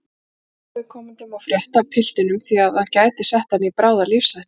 Enginn óviðkomandi má frétta af piltinum því að það gæti sett hann í bráða lífshættu